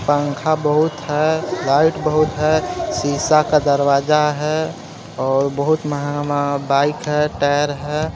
पंखा बहुत है लाइट बहुत है शीशा का दरवाजा है और बहुत महंगा-महंगा बाइक है टायर है।